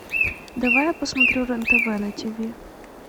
давай я посмотрю рен тв на тв